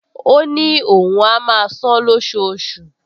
Ó ní òun á máa san-án lóṣooṣù